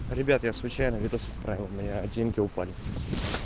ребят я случайно видос отправил у меня деньги упали